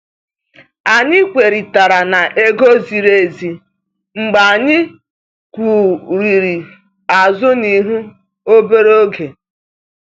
Anyị kwerị tara n'ego ziri ezi mgbe anyị kwurịrị azụ na ihu obere oge.